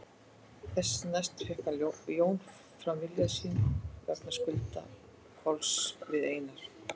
Þessu næst fékk Jón fram vilja sinn vegna skulda Kolls við Einar